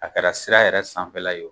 A kɛra sira yɛrɛ sanfɛ la ye o,